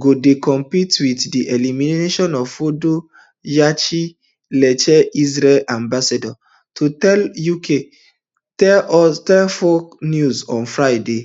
go dey complete wit di elimination of fordo yechiel leiter israel ambassador to us tell fox news on friday